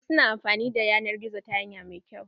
Wasu na amfani da yanar gizo ta hanya mai kyau.